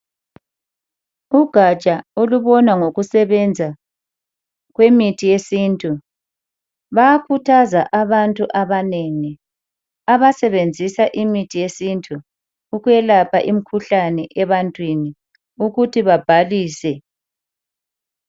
Ugatsha olubona ngokusebenza kwemithi yesintu bayakhuthaza abantu abanengi abasebenzisa imithi yesintu ukuyelapha imikhuhlane ebantwini ukuthi babhalise.